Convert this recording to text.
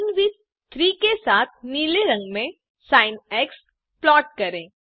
linewidth 3 के साथ नीले रंग में सिन प्लॉट करें